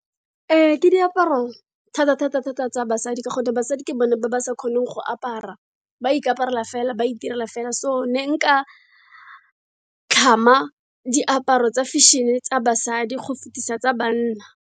Ee ke diaparo thata-thata-thata tsa basadi, ka gonne basadi ke bone ba ba sa kgoneng go apara. Ba ikaparela fela, ba itirela fela. So ne nka tlhama diaparo tsa fashion-e tsa basadi go fetisisa tsa banna.